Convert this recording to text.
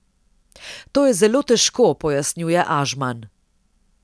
To je zelo težko, pojasnjuje Ažman.